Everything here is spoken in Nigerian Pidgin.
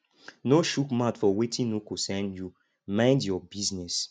no chook mouth for wetin no concern you mind your business